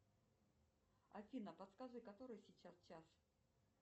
афина подскажи который сейчас час